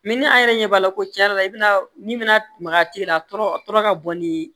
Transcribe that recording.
ni an yɛrɛ ɲɛ b'a la ko cɛn yɛrɛ la i bɛna ni mana tɛ yen a tɔɔrɔ a tɔɔrɔ ka bɔ ni